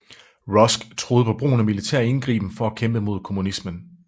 Rusk troede på brugen af militær indgriben for at kæmpe mod kommunismen